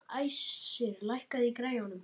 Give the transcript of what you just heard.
Æsir, lækkaðu í græjunum.